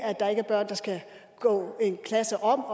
at der ikke er børn der skal gå en klasse om